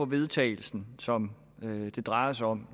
vedtagelsen som det drejer sig om